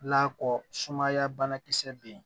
La kɔ sumaya banakisɛ bɛ yen